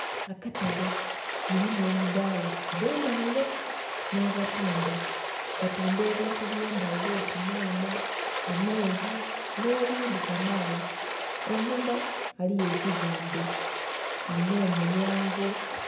Akatale mulimu emidhala edhe ndhaghulo nha batundha, batundha ebintu bye ndhaghulo oti nhanha, amenvu nhe bindhi kamaala. Einhuma ghaligho ekizimbe kilinha omulyango.